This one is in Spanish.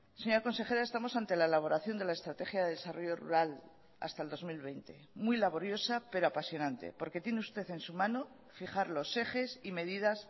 señora consejera estamos ante la elaboración de la estrategia de desarrollo rural hasta el dos mil veinte muy laboriosa pero apasionante porque tiene usted en su mano fijar los ejes y medidas